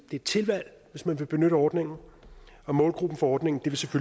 et tilvalg at benytte ordningen og målgruppen for ordningen